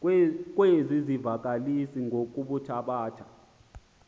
kwezi zivakalisi ngokuthabatha